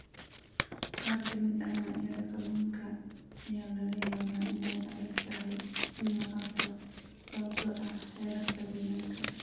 Qaar ka mid ah noocyada kalluunka ayaa laga yaabaa inay adag tahay in la qabto sababtoo ah xeerarka deegaanka.